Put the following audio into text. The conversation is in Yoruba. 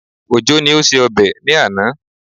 Òjó ni ó ṣe ọbẹ̀ ní àná